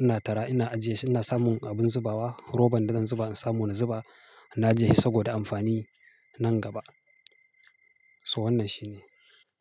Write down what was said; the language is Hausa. ina tara ina ajiye shi ina samun abin zubawa, roban da zan zuba in samu na zuba. Na ajiye shi saboda amfani nan gaba. So wannan shine.